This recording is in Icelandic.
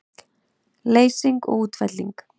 Leysing og útfelling